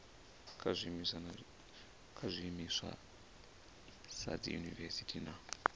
kha zwiimiswa sa dziyunivesiti na